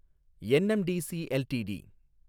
NMDC LTD